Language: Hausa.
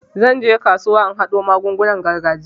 Zan je kasuwa in haɗo magungunan gargajiya.